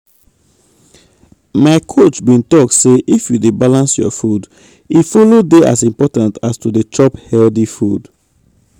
my coach bin talk say if you dey balance your food e follow dey as important as to dey chop healthy food.